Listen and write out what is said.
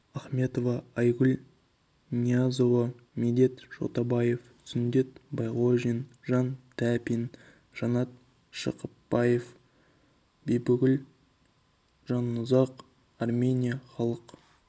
ахметова айгүл ниязова медет шотабаев сүндет байғожин жан тәпин жанат шыбықпаев бибігүл жанұзақ армения халық